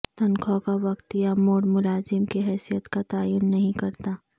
تنخواہ کا وقت یا موڈ ملازم کی حیثیت کا تعین نہیں کرتا